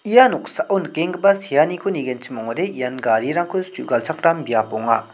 ia noksao nikenggipa seaniko nigenchim ong·genchim ong·ode ian garirangko su·galchakram biap ong·a.